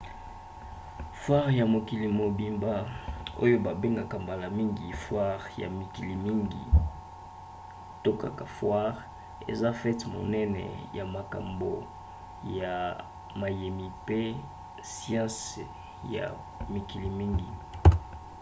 foire ya mokili mobimba oyo babengaka mbala mingi foire ya mikili mingi to kaka foire eza fete monene ya makambo ya mayemi mpe ya siansi ya mikili mingi